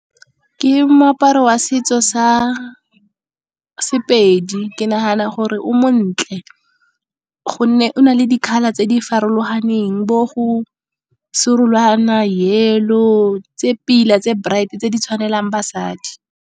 Ke moaparo wa setso sa Sepedi, ke nagana gore o montle. Gonne o na le di-colour tse di farologaneng, bo go serolwana, yellow tse pila tse bright tse di tshwanelang basadi.